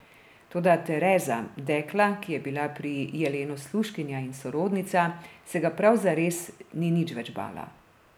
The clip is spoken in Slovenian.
Toda Tereza, dekla, ki je bila pri Jelenu služkinja in sorodnica, se ga prav zares ni nič več bala.